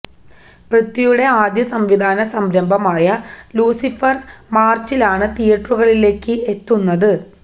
പൃഥ്വിയുടെ ആദ്യ സംവിധാന സംരഭമായ ലൂസിഫര് മാര്ച്ചിലാണ് തിയ്യേറ്ററുകളിലേക്ക് എത്തുന്നത്